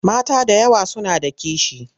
Mata da yawa suna da kishi.